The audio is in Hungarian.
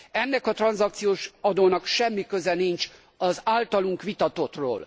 Ennek a tranzakciós adónak semmi köze sincs az általunk vitatotthoz.